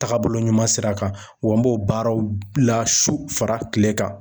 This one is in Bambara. Tagabolo ɲuman sira kan wa n b'o baaraw la su fara kile kan